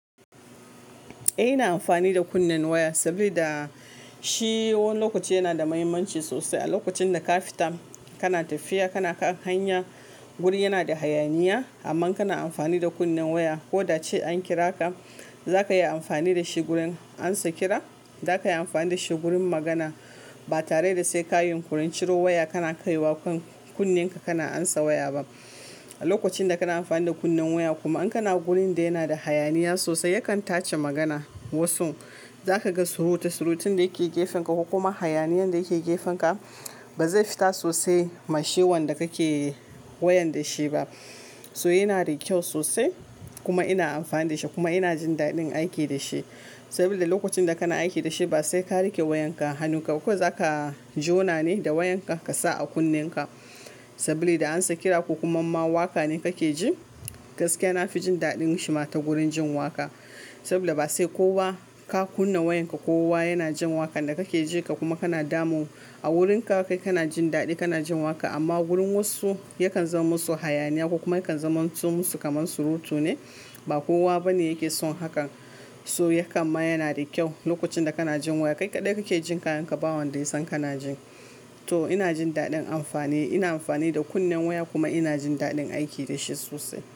Eh ina amfani da kunnen waya saboda shi wani lokaci yana da mahimmanci sosai. A lokacin da ka fita kana tafiya kana kan hanya wuri yana da hayaniya amma kana amfani da kunnen waya ko da cewa an kira ka zaka yi amfani da shi wurin ansa kira, za ka yi amfani da shi wurin magana ba tare da sai ka yi kurinciro waya kana kaiwa kunnenka kana ansa waya ba. A lokacin da kana amfani da kunnen waya kuma in kana wurin da yana da hayaniya sosai yakan tace magana. Wasu za ka ga surutu surutin da ya ke gefen ka ko kuma hayaniyan da ya ke gefen ka ba zai fita sosai ma shi wan da kake wayan da shi ba. So yana da kyau sosai kuma ina amfani da shi kuma ina jin daɗin aiki da shi. Saboda lokacin da kana aiki da shi ba sai ka rike wayanka. Hannunkka ko zaka jona ne da wayanka ka sa a kunnenka saboda da ansa kira ko kuma ma waƙa ne ka ke ji. Gaskiya na fi jin daɗin shi ma ta wurin jin waƙa. Saboda ba sai kowa ka kunna wayanka ko kowa yana jin waƙar da kake ji ka kuma kana damun. A wurinka kai kana jin daɗi kana jin waƙa amma wurin wasu yakan zama musu hayaniya ko kuma yakan zama musu kamar surutu ne ba kowa bane yake son hakan. So yakan ma yana da kyau lokacin da ka na jin waya kai kaɗai kake jin kayan ka ba wanda ya san kana jin. To ina jin daɗin amfani. Ina amfani da kunnen waya kuma ina jin daɗin aiki da shi sosai.